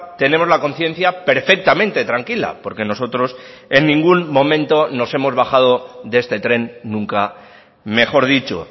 tenemos la conciencia perfectamente tranquila porque nosotros en ningún momento nos hemos bajado de este tren nunca mejor dicho